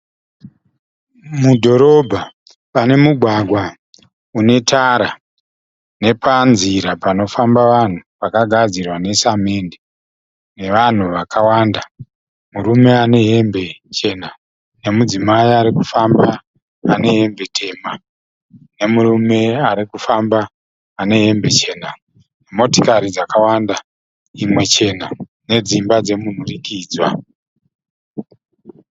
Mudhorobha, pane mugwagwa une tara nepanzira panofamba vanhu pakagadzirwa nesamende, nevanhu vakawanda. Murume ane hembe chena nemukadzi arikufamba ane hembe tema, nemurume arikufamba ane hembe chena. Motikari dzakawanda imwe chena nedzimba dzemunhurikidzwa.